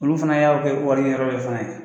Olu fana y'a u kɛ wari ɲini yɔrɔ dɔ fana ye.